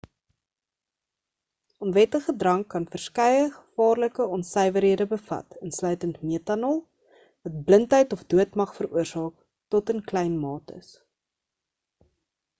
onwettige drank kan verskeie gevaarlike onsuiwerhede bevat insluitend metanol wat blindheid of dood mag veroorsaak tot in klein mates